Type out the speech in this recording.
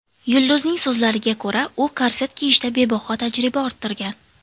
Yulduzning so‘zlariga ko‘ra, u korset kiyishda bebaho tajriba orttirgan.